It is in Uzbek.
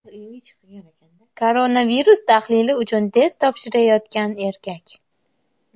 Koronavirus tahlili uchun test topshirayotgan erkak.